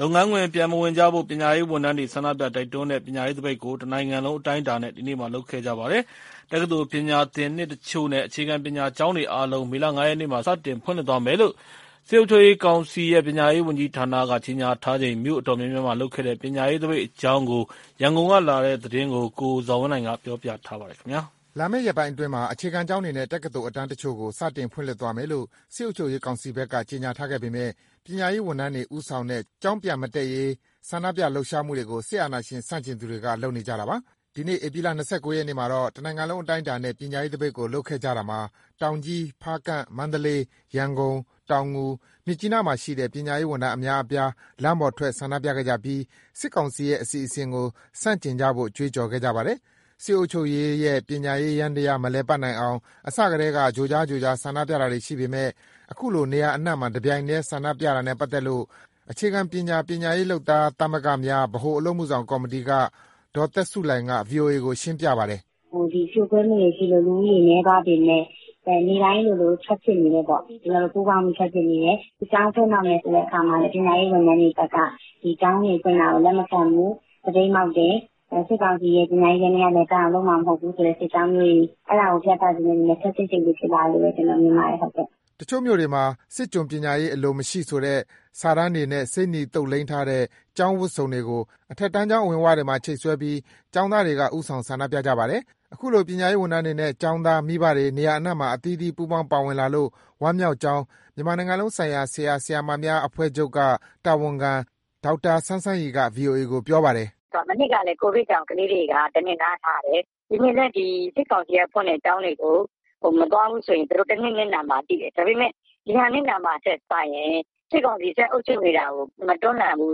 လုပ်ငန်းခွင် ပြန်မဝင်ကြဖို့ ပညာရေးဝန်ထမ်းတွေ ဆန္ဒပြ တိုက်တွန်းတဲ့ ပညာရေးသပိတ်ကို တနိုင်ငံလုံး အတိုင်းအတာနဲ့ ဒီနေ့လုပ်ခဲ့ကြပါတယ်။ တက္ကသိုလ်ပညာသင်နှစ်တချို့နဲ့ အခြေခံပညာကျောင်းတွေအားလုံးကို မေလ ၅ ရက်မှာ စတင်ဖွင့်လှစ်သွားမယ်လို့ စစ်အုပ်ချုပ်ရေးကောင်စီရဲ့ ပညာရေးဝန်ကြီးဌာနက ကြေညာထားချိန် မြို့အတော်များများမှာလုပ်ခဲ့တဲ့ ပညာရေးသပိတ်အကြောင်း ရန်ကုန်ကလာတဲ့သတင်းကို ကိုဇော်ဝင်းလှိုင်က ပြောပြထားပါတယ်။ လာမယ့်ရက်ပိုင်းအတွင်းမှာ အခြေခံကျောင်းတွေနဲ့ တက္ကသိုလ်အတန်းတချို့ကို စတင်ဖွင့်လှစ်သွားမယ်လို့ စစ်အုပ်ချုပ်ရေးကောင်စီဘက်က ကြေညာထားပေမဲ့ ပညာရေးဝန်ထမ်းတွေ ဦးဆောင်တဲ့ ကျောင်းပြန်မတက်ရေး ဆန္ဒပြလှုပ်ရှားမှုတွေကို စစ်အာဏာရှင်ဆန့်ကျင်သူတွေက လုပ်နေကြတာပါ။ ဒီနေ့ ဧပြီလ ၂၉ ရက်မှာတော့ တနိုင်ငံလုံး အတိုင်းအတာနဲ့ ပညာရေးသပိတ်ကို လုပ်ခဲ့ကြတာမှာ တောင်ကြီး၊ ဖားကန့်၊ မန္တလေး၊ ရန်ကုန်၊ တောင်ငူ၊ မြစ်ကြီးနားမှာရှိတဲ့ ပညာရေးဝန်ထမ်း အများအပြား လမ်းပေါ်ထွက် ဆန္ဒပြခဲ့ကြပြီး စစ်ကောင်စီရဲ့ အစီအစဉ်တွေကို ဆန့်ကျင်ကြဖို့ ကြွေးကြော်ခဲ့ကြပါတယ်။ စစ်အုပ်ချုပ်ရေးရဲ့ ပညာရေးယန္တရား မလည်ပတ်နိုင်အောင် အစကတည်းက ကြိုကြား ကြိုကြား ဆန္ဒပြတာတွေရှိပေမဲ့ အခုလို နေရာအနှံ့မှာ တပြိုင်နက်တည်း ဆန္ဒပြတာနဲ့ပတ်သက်လို့ အခြေခံပညာ ပညာရေးလုပ်သားသမဂ္ဂများ ဗဟိုအလုပ်အမှုဆောင်ကော်မတီက ဒေါ်သက်ဆုလှိုင်က ဗွီအိုအေကို ရှင်းပြပါတယ်။ “ဖြိုခွဲမှုတွေရှိလို့ လူဦးရေနည်းသွားပေမဲ့ နေ့တိုင်းလိုလို ထွက်ဖြစ်နေတယ်ပေါ့။ ကျနော်တို့ ပူးပေါင်းပြီး ထွက်ဖြစ်နေတယ်။ ကျောင်းဖွင့်တော့မယ်ဆိုတဲ့ အခါမှာလည်း ပညာရေးဝန်ထမ်းတွေဘက်က ဒီကျောင်းတွေဖွင့်တာကို လက်မခံဘူး။ သပိတ်မှောက်တယ်။ စစ်ကောင်စီရဲ့ ပညာရေးယန္တရား လည်ပတ်အောင်လုပ်မှာ မဟုတ်ဘူးဆိုတဲ့ စစ်ကြောင်းမျိုးတွေ၊ အဲဒါကို ပြသချင်တဲ့အတွက် ခပ်စိတ်စိတ် ဖြစ်လာတယ်လို့ ကျနော်မြင်ပါတယ်။” တချို့မြို့နယ်တွေမှာ စစ်ကျွန်ပညာရေး အလိုမရှိဆိုတဲ့ စာတမ်းတွေနဲ့ ဆေးနီသုတ်လိမ်းထားတဲ့ ကျောင်းဝတ်စုံတွေကို အထက်တန်းကျောင်း အဝင်ဝတွေမှာ ချိတ်ဆွဲပြီး ကျောင်းသားတွေက ဦးဆောင်ဆန္ဒပြကြပါတယ်။ အခုလို ပညာရေးဝန်ထမ်းတွေနဲ့ ကျောင်းသား၊ မိဘတွေ နေရာအနှံ့မှာ အသီးသီး ပူးပေါင်း ပါဝင်လာလို့ ဝမ်းမြောက်ကြောင်း မြန်မာနိုင်ငံလုံးဆိုင်ရာ ဆရာ၊ ဆရာမများအဖွဲ့ချုပ်က တာဝန်ခံ ဒေါက်တာစန်းစန်းရီက ဗွီအိုအေကို ပြောပါတယ်။ “မနှစ်ကလည်း COVID ကြောင့် ကလေးတွေက တနှစ်နားထားတယ်။ ဒီနှစ်လည်း စစ်ကောင်စီက ဖွင့်တဲ့ကျောင်းတွေကို မသွားဘူးဆိုရင် သူတို့တနှစ် နစ်နာမှာ သိတယ်။ ဒါပေမဲ့ ဒီဟာနစ်နာမှာထက်စာရင် စစ်ကောင်စီအုပ်ချုပ်နေတာကို မတွန်းလှန်ဘူး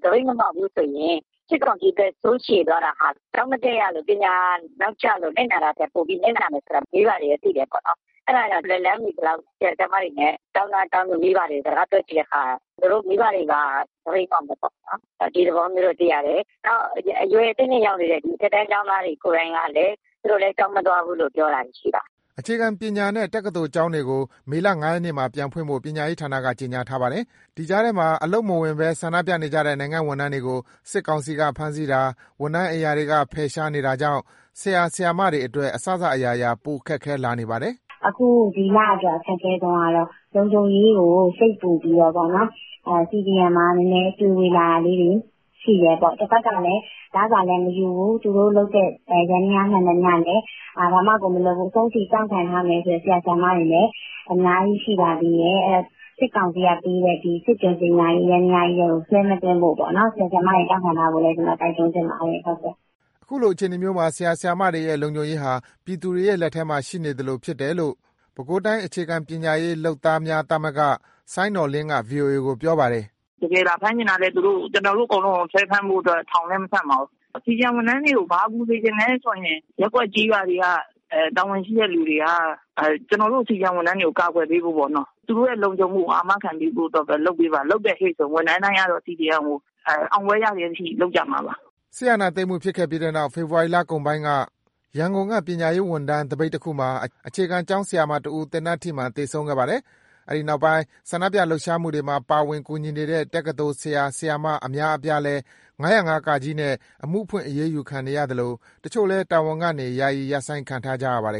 ။ သပိတ်မမှောက်ဘူးဆိုရင် စစ်ကောင်စီ သက်ဆိုးရှည်သွားတာဟာ ကျောင်းမတက်ရလို့ ပညာနောက်ကျလို့ နစ်နာတာထက် ပိုပြီးနစ်နာမယ်ဆိုတာ မိဘတွေက သိတယ်။ အဲဒါကြောင့် လက်လှမ်းမီသလောက် ဆရာ၊ ဆရာမတွေ၊ ကျောင်းသား ကျောင်းသူ မိဘတွေကို စကားပြောကြည့်တဲ့အခါ မိဘတွေက သပိတ်မှောက်မယ်ပေါ့။ ဒီသဘောမျိုး သိရတယ်။ နောက် အရွယ်အသင့်အတင့် ရောက်နေတဲ့ အထက်တန်း ကျောင်းသားတွေ ကိုယ်တိုင်ကလည်း သူတို့လည်း ကျောင်းမသွားဘူးလို့ ပြောတာတွေ ရှိပါတယ်။” အခြေခံပညာနဲ့ တက္ကသိုလ်ကျောင်းတွေကို မေလ ၅ ရက်နေ့မှာ ပြန်ဖွင့်ဖို့ ပညာရေးဌာနက ကြေညာထားပါတယ်။ ဒီကြားထဲမှာ အလုပ်ခွင်မဝင်ဘဲ ဆန္ဒပြနေတဲ့ နိုင်ငံ့ဝန်ထမ်းတွေကို စစ်ကောင်စီက ဖမ်းဆီးတာ၊ ဝန်ထမ်းအိမ်ရာတွေက ဖယ်ရှားနေတာကြောင့် ဆရာ၊ ဆရာမတွေအတွက် အစစအရာရာ ပိုမိုခက်ခဲလာနေပါတယ်။ “ဒီလအတွက် အခက်အခဲဆုံးကတော့ လုံခြုံရေးကိုစိတ်ပူပြီးတော့ CDM မှာနည်းနည်း တွေဝေလာတာလေးတွေ ရှိတယ်ပေါ့။ တဘက်ကလည်း လစာလည်းမယူဘူး။ သူတို့လုပ်တဲ့ ယန္တရားမှန်သမျှလည်း ဘာမှမလုပ်ဘူး။ အဆုံးထိ တောင့်ခံထားမယ်ဆိုတဲ့ ဆရာ၊ ဆရာမတွေလည်း အများကြီး ရှိပါသေးတယ်။ အဲဒီတော့ စစ်ကောင်စီကပေးတဲ့ စစ်ကျွန်ပညာရေး ယန္တရားကြီးထဲကို ဆွဲမသွင်းဖို့ ဆရာ၊ ဆရာမတွေ တောင့်ခံထားဖို့ တိုက်တွန်းချင်ပါတယ်။” အခုအခြေအနေမျိုးမှာ ဆရာ၊ ဆရာမတွေရဲ့ လုံခြုံရေးဟာ ပြည်သူတွေရဲ့ လက်ထဲမှာရှိနေသလိုဖြစ်တယ်လို့ ပဲခူးတိုင်း အခြေခံပညာရေး လုပ်သားများသမဂ္ဂက စိုင်းနော်လင်းက ဗွီအိုအေကို ပြောပါတယ်။ “တကယ်လာဖမ်းချင်လည်း သူတို့ ကျနော်တို့အကုန်လုံးကို ဆွဲဖမ်းဖို့ ထောင်လည်း မဆံ့ပါဘူး။ CDM ဝန်ထမ်းတွေကို ဘာကူညီစေချင်လဲဆိုရင် ရပ်ကွက်၊ ကျေးရွာတွေက တာဝန်ရှိတဲ့သူတွေက ကျနော်တို့ CDM ဝန်ထမ်းတွေကို ကာကွယ်ပေးဖို့ပေါ့နော်၊ သူတို့ရဲ့ လုံခြုံရေးကို အာမခံပေးဖို့ပဲ လုပ်ပေးပါ။ လုပ်တယ်ဟေ့ဆိုရင် ဝန်ထမ်းတိုင်းက CDM ကို အောင်ပွဲရတဲ့အထိ လုပ်ကြမှာပါ။” စစ်အာဏာသိမ်းမှုဖြစ်ခဲ့ပြီးနောက် ဖေဖော်ဝါရီလကုန်ပိုင်းက ရန်ကုန်က ပညာရေးဝန်ထမ်း သပိတ်တခုမှာ အခြေခံကျောင်းဆရာမတဦး သေနတ်ထိမှန် သေဆုံးခဲ့ပါတယ်။ အဲဒီနောက်ပိုင်း ဆန္ဒပြလှုပ်ရှားမှုတွေမှာ ပါဝင်၊ ကူညီနေတဲ့ တက္ကသိုလ် ဆရာ၊ ဆရာမ အများအပြားလည်း ၅၀၅ နဲ့ အမှုဖွင့် အရေးယူခံနေရသလို တချို့လည်း တာဝန်ကနေ ယာယီရပ်ဆိုင်းခံထားရပါတယ်